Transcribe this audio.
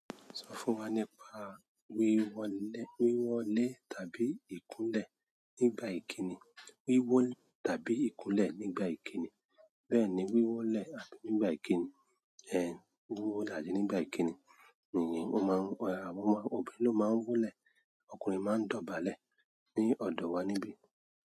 Sọ fún wa nípa wíwọlé tàbí ìkúnlẹ̀. Tàbí ìkúnlẹ̀ nígbà ìkíni. Bẹ́ẹ̀ni, wíwólẹ̀ nígbà ìkíni, wíwólẹ̀ àní nígbà ìkíni. Èyí ni ọmọ, ọmọbìnrin ló máa ń wólẹ̀, ọkùnrin máa ń dọ̀bálẹ̀ ní ọ̀dọ̀ wa níbí.